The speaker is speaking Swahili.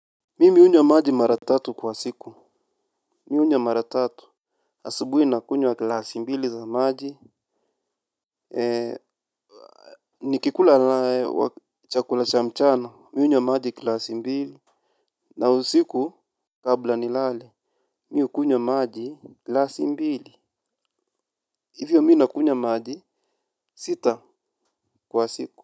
Mimi hunywa maji mara tatu kwa siku, mi hunywa mara tatu, asubuhi nakunywa glasi mbili za maji, nikikula chakula cha mchana, mi hunywa maji glasi mbili, na usiku kabla nilale, mi u kunywa maji glasi mbili, hivyo mi nakunywa maji sita kwa siku.